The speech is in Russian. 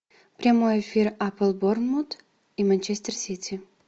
прямой эфир апл борнмут и манчестер сити